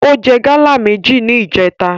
Ó jẹ gáálà méjì ní ìjèta